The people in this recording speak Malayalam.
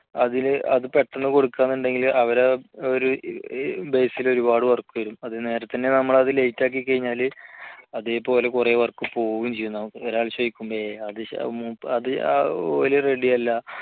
അതിലെ അത് പെട്ടെന്ന് കൊടുക്കാമെന്നുണ്ടെങ്കിൽ അവരുടെ base ൽ ഒരുപാട് work വരും അത് നേരത്തെ തന്നെ നമ്മൾ അത് late ആക്കി കഴിഞ്ഞാല് അതേപോലെ കുറെ work പോവുകയും ചെയ്യും